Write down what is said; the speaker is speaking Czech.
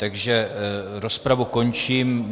Takže rozpravu končím.